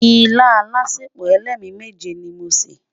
ìlà álàsèpo ẹlẹmi méje ní mọ ṣé